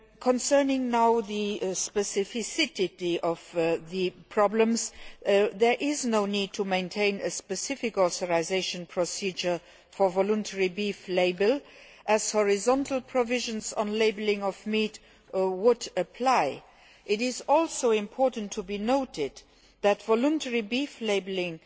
Concerning the specific problems, there is no need to maintain a specific authorisation procedure for voluntary beef labelling as horizontal provisions on labelling of meat would apply. It is also important to note that voluntary beef labelling